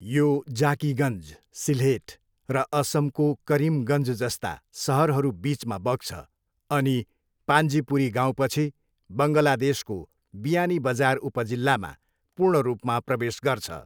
यो जाकिगन्ज, सिल्हेट, र असमको करिमगन्ज जस्ता सहरहरूबिचमा बग्छ अनि पान्जिपुरी गाउँपछि बङ्गलादेशको बियानीबजार उपजिल्लामा पूर्ण रूपमा प्रवेश गर्छ।